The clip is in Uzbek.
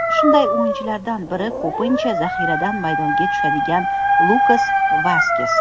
Shunday o‘yinchilardan bir ko‘pincha zaxiradan maydonga tushadigan Lukas Vaskes.